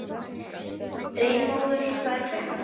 Freymóður, hvað er klukkan?